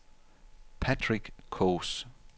Patrick Kaas